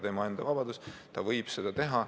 Tema enda vabadus, ta võib seda teha.